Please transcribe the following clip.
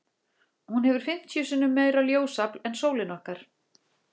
Hún hefur fimmtíu sinnum meira ljósafl en sólin okkar.